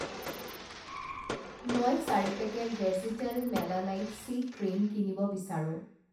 মই চাৰি পেকেট ভেজীতেল মেলানাইট চি ক্ৰীম কিনিব বিচাৰোঁ।